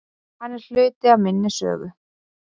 Hann er hluti af minni sögu.